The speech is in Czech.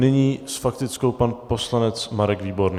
Nyní s faktickou pan poslanec Marek Výborný.